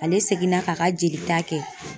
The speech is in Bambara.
Ale seginna k'a ka jelita kɛ